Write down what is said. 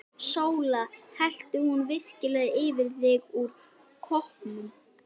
SÓLA: Hellti hún virkilega yfir þig úr koppnum!